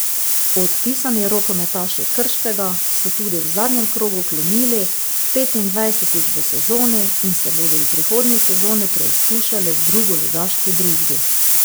Odpisani rokometaši Krškega so tudi v zadnjem krogu klonili, petindvajsetič v sezoni, in se bodo v prihodnji sezoni preizkušali v drugoligaški družbi.